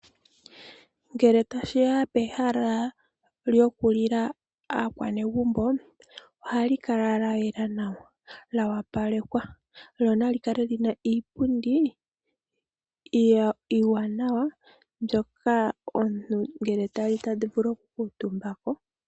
Ngele tashi ya pehala lyokulila aanegumbo, ohali kala lya yela nawa lyo opalekwa, lyo nali kale wo li na iipundi iiwaanawa mbyoka ngele omuntu ta li ta vulu oku kuutumba ko.